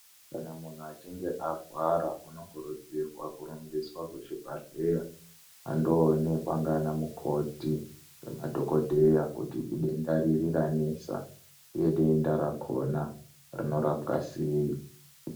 Kana muntu achinge arwara unokurudzirwa kurumbiswa kuzvibhadhleya. Andoonekwa ndiana mukoti ngemadhogodheya kuti idenda riri ranesa, uye denda rakona rinorapwa sei.